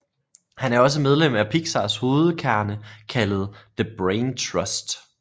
Han er også medlem af Pixars hovedkerne kaldet The Brain Trust